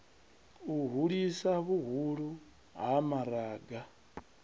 u hulisa vhuhulu ha maraga